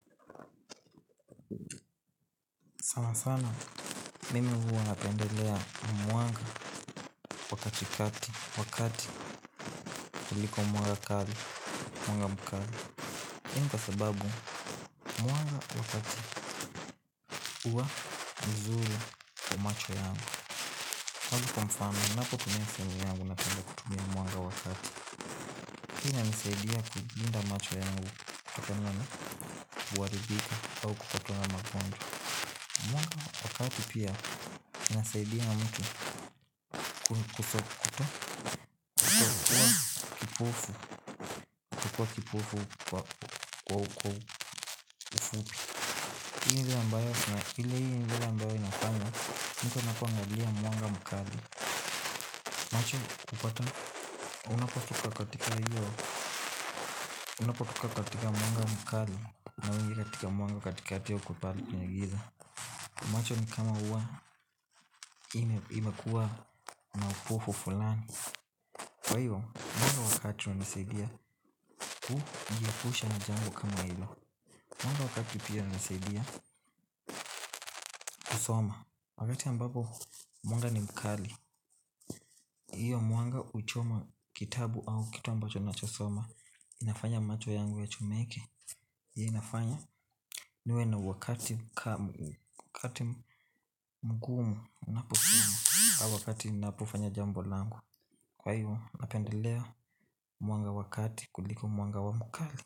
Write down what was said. Sana sana, mimi huwa napendelea mwanga wakati kati, wakati kuliko mwanga kali, mwanga mkali Henda sababu, mwanga wakati huwa mzuri kwa macho yangu kwani kwa mfano, napotumia simu yangu napenda kutumia mwanga wa taa. Hii inanisaidia kulinda macho yangu, kutokana na uharibifu au kutokana na lmagonwa. Mwanga wa kati pia inasaidia mtu kutokuwa kipufu kwa wako ufupi. Hali hili hili hili hili ambayo inafanya mtu anapoangalia mwanga mkali. Macho hupata unapotoka katika mwanga mkali na wengi katika moyo katikati haukubali kwenye giza. Macho ni kama ua inakuwa na upofu fulani kwa hiyo mwanga wa kati hunisaidia kujiepusha na jambo kama hilo. Mwanga wa kati pia hunisaidia kusoma. Wakati ambapo mwanga ni mkali hiyo mwanga huchoma kitabu au kitabu ambacho nachosoma. Inafanya macho yangu yachomeke. Hii inafanya niwe na wakati mgumu naposoma au wakati napofanya jambo langu. Kwa hiyo napendeleo mwanga wa kati kuliko mwanga wa mkali.